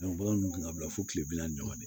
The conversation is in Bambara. bagan dun kun ka bila fo kile bi naani ni saba de la